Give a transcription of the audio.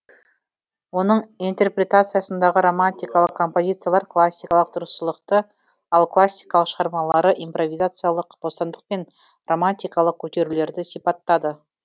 оның интерпретациясындағы романтикалық композициялар классикалық дұрыстылықты ал классикалық шығармалары импровизациялық бостандық пен романтикалық көтерілулерді сипаттады